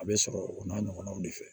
A bɛ sɔrɔ o n'a ɲɔgɔnnaw de fɛ